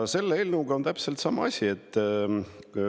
Selle eelnõuga on täpselt sama asi.